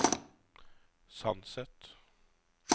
Sandset